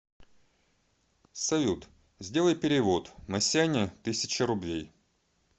салют сделай перевод масяня тысяча рублей